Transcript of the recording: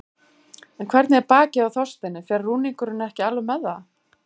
En hvernig er bakið á Þorsteini, fer rúningurinn ekki alveg með það?